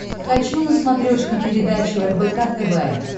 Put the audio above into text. хочу на смотрешке передачу рбк тв